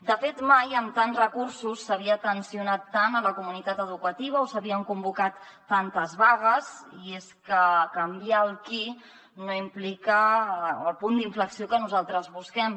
de fet mai amb tants recursos s’havia tensionat tant la comunitat educativa o s’havien convocat tantes vagues i és que canviar el qui no implica el punt d’inflexió que nosaltres busquem